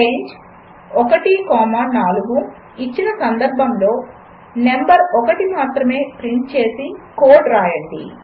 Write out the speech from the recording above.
range 1 comma 4 ఇచ్చిన సందర్భములో number 1 మాత్రమే ప్రింట్ చేసే కోడ్ వ్రాయండి